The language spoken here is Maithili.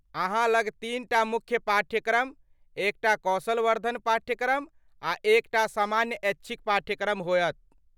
अहाँ लग तीनटा मुख्य पाठ्यक्रम, एकटा कौशल वर्धन पाठ्यक्रम आ एकटा सामान्य ऐच्छिक पाठ्यक्रम होयत।